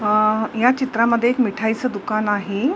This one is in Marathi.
अ या चित्रामध्ये एक मिठाईचे दुकान आहे.